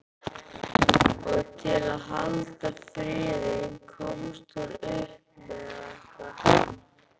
Og til að halda friðinn komst hún upp með þetta.